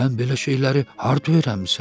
Sən belə şeyləri harda öyrənmisən?